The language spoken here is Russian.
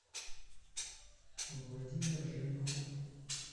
владимир женихов